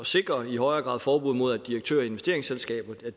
sikrer i højere grad forbud mod at direktører i investeringsselskaber